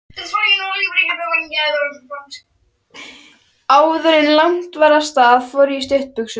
Áðuren lagt var af stað fór ég í stuttbuxur.